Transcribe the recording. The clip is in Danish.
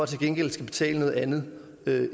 til gengæld skal betale noget andet